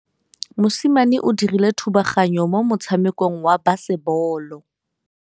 Mosimane o dirile thubaganyô mo motshamekong wa basebôlô.